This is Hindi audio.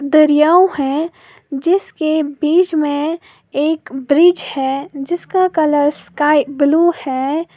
दरियाव है जिसके बीच में एक ब्रिज है जिसका कलर स्काई ब्लू है।